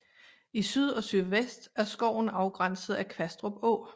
I syd og sydvest er skoven afgrænset af Kvastrup Å